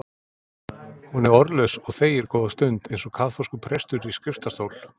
Hún er orðlaus og þegir góða stund, eins og kaþólskur prestur í skriftastól.